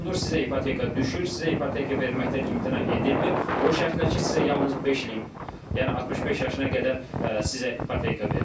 Sizə ipoteka düşür, sizə ipoteka verməkdən imtina edilmir, o şərtlər ki, sizə yalnız beş ilin, yəni 65 yaşına qədər sizə ipoteka verilir.